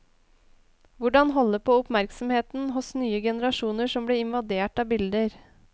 Hvordan holde på oppmerksomheten hos nye generasjoner som blir invadert av bilder?